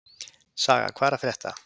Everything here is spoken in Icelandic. Saga, hvað er að frétta?